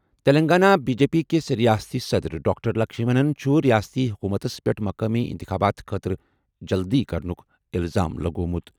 Telangana B J P کِس رِیاستی صدٕر ڈاکٹر لکشمنَن چُھ رِیٲستی حُکوٗمتس پیٚٹھ مُقٲمی اِنتِخابات خٲطرٕ جلدٕی کرنُک اِلزام لگوٚومُت۔